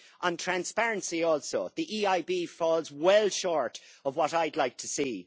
On transparency also, the EIB falls well short of what I would like to see.